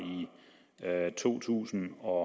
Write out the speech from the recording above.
to tusind og